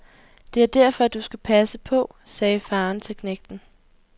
Det er derfor, du skal passe på, sagde faren til knægten.